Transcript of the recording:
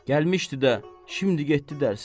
Gəlmişdi də, şimdi getdi dərsən.